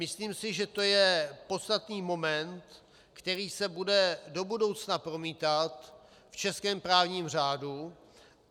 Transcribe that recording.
Myslím si, že to je podstatný moment, který se bude do budoucna promítat v českém právním řádu.